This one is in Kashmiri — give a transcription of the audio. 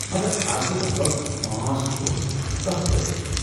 مگر از گٔیہِ لگ بھگ پانٛژھ دۄہ تہٕ كانہہ رٲبطہٕ چُھنہٕ ۔